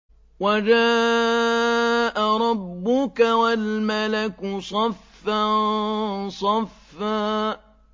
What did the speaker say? وَجَاءَ رَبُّكَ وَالْمَلَكُ صَفًّا صَفًّا